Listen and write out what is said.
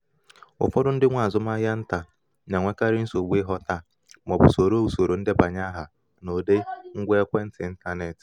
ụfọdụ ndị nwe azụmahịa nta na-enwekarị nsogbu ịghọta ma ọ bụ soro usoro ndebanye aha n’ụdị ngwa ekwentị intaneti